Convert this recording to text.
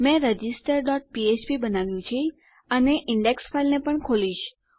મેં register dot ફ્ફ્પ બનાવ્યુ છે અને ઈન્ડેક્સ ફાઈલને પણ ખોલીશ